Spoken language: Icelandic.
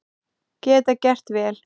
Geta gert vel